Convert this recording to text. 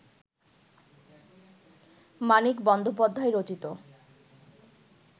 মানিক বন্দ্যোপাধ্যায় রচিত